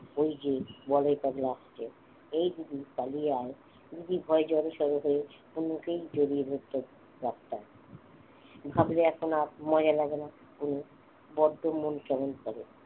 ওই যে বলাই পাগলা আসছে এই দিদি পালিয়ে আয় দিদি ভয়ে জড়োসড়ো হয়ে আছে ভাবলে এখন আর মজা লাগেনা বড্ড মন কেমন করে